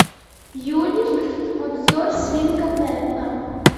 юлик обзор свинка пеппа